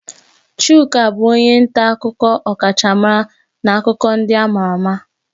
Chuka bụ onye nta akụkọ ọkachamara na akụkọ ndị ama ama.